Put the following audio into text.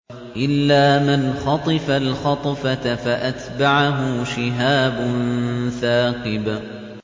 إِلَّا مَنْ خَطِفَ الْخَطْفَةَ فَأَتْبَعَهُ شِهَابٌ ثَاقِبٌ